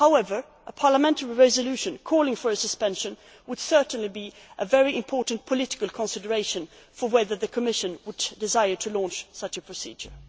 for Parliament. However, a parliamentary resolution calling for a suspension would certainly be a very important political consideration for whether the Commission would desire to launch such